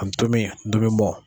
Ndomi ndomimɔ.